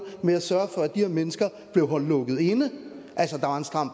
med at sørge for at de her mennesker blev holdt lukket inde altså at der var en stram